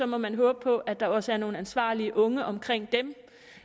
må man håbe på at der også er nogle ansvarlige unge omkring dem